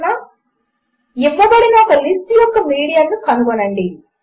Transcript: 4 ఇవ్వబడిన ఒక లిస్ట్ యొక్క మీడియన్ కనుగొనండి